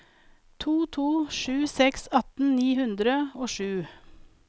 to to sju seks atten ni hundre og sju